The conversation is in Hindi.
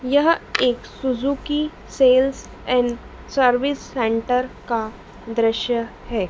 यह एक Suzuki sales and service centre का दृश्य है।